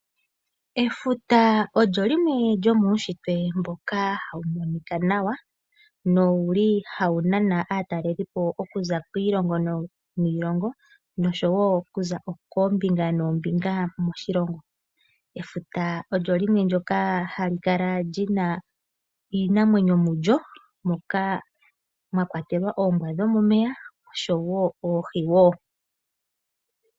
Efuta olyo limwe lyomuushitwe mboka hawu monika nawa, nowuli hawu nana aatalelipo okuza kiilongo niilongo nosho wo kuza koombinga noombinga moshilongo. Efuta olyo limwe ndyoka hali kala lina iinamwenyo mulyo moka mwakwatelwa, oombwa dhomomeya oshowo oohi wo.